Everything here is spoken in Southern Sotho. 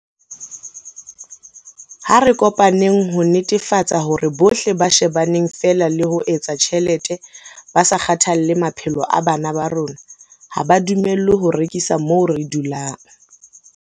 Ha re kopaneng ho netefatsa hore bohle ba shebaneng feela le ho etsa tjhelete ba sa kgathalle maphelo a bana ba rona ha ba dumellwe ho rekisa moo re dulang.